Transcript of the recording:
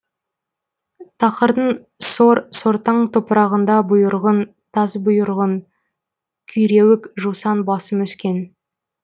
тақырдың сор сортаң топырағында бұйырғын тасбұйырғын күйреуік жусан басым өскен